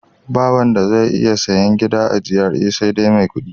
Ba wanda zai iya sayen gida a GRA sai mai kuɗi.